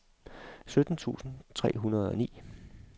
sytten tusind tre hundrede og ni